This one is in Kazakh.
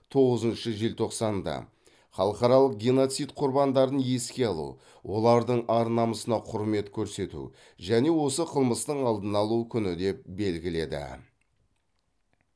тоғызыншы желтоқсанды халықаралық геноцид құрбандарын еске алу олардың ар намысына құрмет көрсету және осы қылмыстың алдын алу күні деп белгіледі